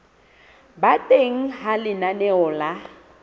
ba teng ha lenaneo la